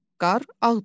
Qar ağdır.